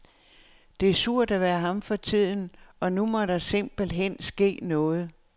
Det er surt at være ham for tiden, og nu må der simpelt hen ske noget.